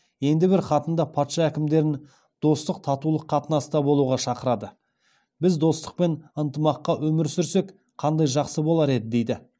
енді бір хатында патша әкімдерін достық татулық қатынаста болуға шақырады біз достық пен ынтымақта өмір сүрсек қандай жақсы болар еді дейді